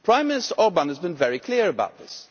Prime Minister Orbán has been very clear about this.